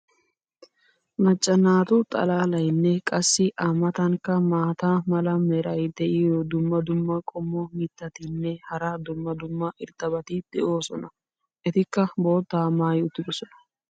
macca naatu xalaalaynne qassi a matankka maata mala meray diyo dumma dumma qommo mitattinne hara dumma dumma irxxabati de'oosona. etikkaa boottaa maayi uttidosona.